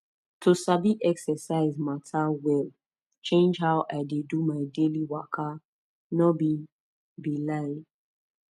to sabi exercise matter well change how i dey do my daily waka no be be lie